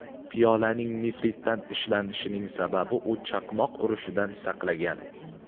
Piyolaning nefritdan ishlanishining sababi, u chaqmoq urishidan saqlagan.